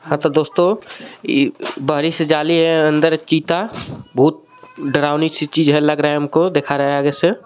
हां तो दोस्तों इ बाडी सी जाली है अंदर चिता भूत डरावनी सी चीज है लग रहा है हमको दिखा रहा है आगे से.